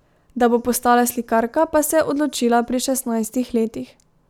Da bo postala slikarka, pa se je odločila pri šestnajstih letih.